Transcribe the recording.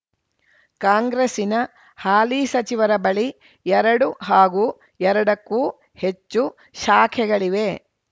ಕಾಂಗ್ರೆಸ್ಸಿನ ಹಾಲಿ ಸಚಿವರ ಬಳಿ ಎರಡು ಹಾಗೂ ಎರಡಕ್ಕೂ ಹೆಚ್ಚು ಶಾಖೆಗಳಿವೆ